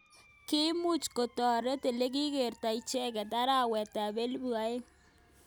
Kimuch koterot olekikertoi icheket arawet ab elibu aeng.